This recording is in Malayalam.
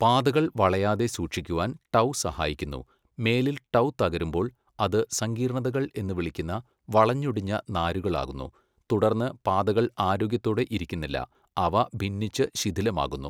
പാതകൾ വളയാതെ സൂക്ഷിക്കുവാൻ ടൗ സഹായിക്കുന്നു മേലിൽ ടൗ തകരുമ്പോൾ അത് സങ്കീർണതകൾ എന്ന് വിളിക്കുന്ന വളഞ്ഞൊടിഞ്ഞ നാരുകൾ ആകുന്നു തുടർന്ന് പാതകൾ ആരോഗ്യത്തോടെ ഇരിക്കുന്നില്ല അവ ഭിന്നിച്ച് ശിഥിലമാകുന്നു.